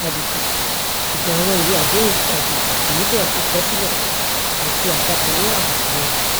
àbùkù ṣùgbọn àwọn ìwé àdéhùn àjèjì kò nílò kíkọ sílẹ àti àtakò lórí àbùkù wọn